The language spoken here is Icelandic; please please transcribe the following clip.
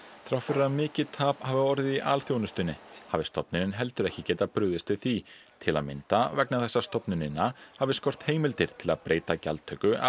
þrátt fyrir að mikið tap hafi orðið í alþjónustunni hafi stofnunin heldur ekki getað brugðist við því til að mynda vegna þess að stofnunina hafi skort heimildir til að breyta gjaldtöku af